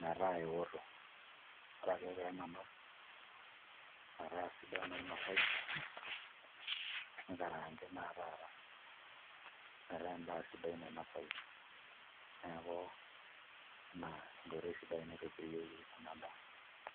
metaa eoto ore ake pee enanau metaa sidan oinasayu nikaraangi naa taata metaa endaa sidai nainosayu, neeku ina enkoitoi sidai naitobirieki ena daa.